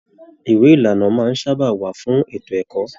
Ìwé ìlànà máa n sábà wà fún ètò ẹ̀kọ́.